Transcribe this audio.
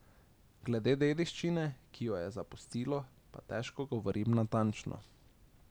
Glede dediščine, ki jo je zapustilo, pa težko govorim natančno.